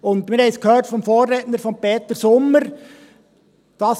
Und wir haben es vom Vorredner Peter Sommer gehört: